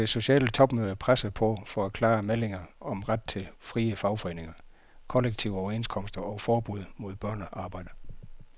De vil på det sociale topmøde presse på for klare meldinger om ret til frie fagforeninger, kollektive overenskomster og forbud mod børnearbejde.